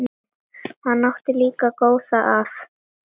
Hann átti líka góða að.